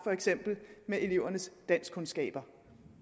for eksempel elevernes danskkundskaber